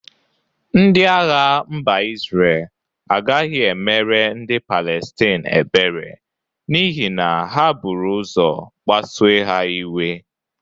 Ndị agha mba Izre agagị emere ndị Palestin ebere n'ihi na ha bụru ụzọ kpasue ha iwe.